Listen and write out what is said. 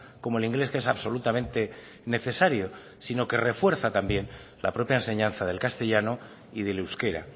como el inglés que es absolutamente necesario sino que refuerza también la propia enseñanza del castellano y del euskera